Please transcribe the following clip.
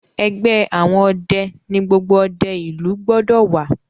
ẹgbẹ àwọn ọdẹ ní gbogbo òde ilu gbódò wá.